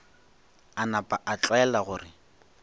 a napa a tlwaela gore